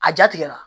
A ja tigɛra